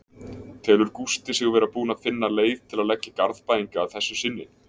Telur Gústi sig vera búinn að finna leið til að leggja Garðbæinga að þessu sinni?